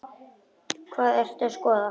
Hvað ertu að skoða?